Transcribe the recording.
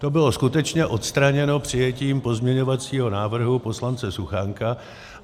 To bylo skutečně odstraněno přijetím pozměňovacího návrhu poslance Suchánka.